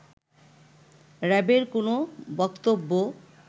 র‍্যাবের কোন বক্তব্য